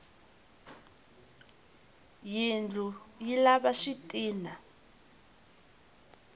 yindlu yi lava switina